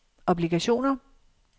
obligationer